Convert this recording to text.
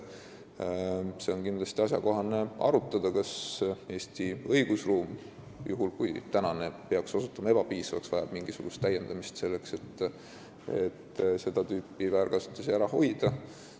Ja kindlasti on asjakohane arutada, kas Eesti õigusruum – juhul kui praegune peaks ebapiisavaks osutuma – vajab mingisuguseid täiendusi, selleks et seda tüüpi väärkasutusi ära hoida.